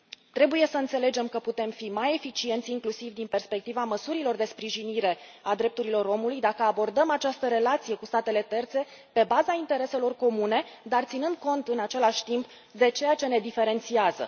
Trebuie să înțelegem că putem fi mai eficienți, inclusiv din perspectiva măsurilor de sprijinire a drepturilor omului, dacă abordăm această relație cu statele terțe pe baza intereselor comune, dar ținând cont, în același timp, de ceea ce ne diferențiază.